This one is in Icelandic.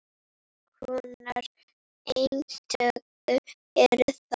Hvers konar eintök eru það?